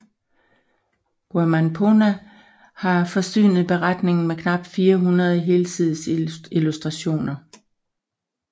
Guaman Poma har forsynet beretningen med knap 400 helsidesillustrationer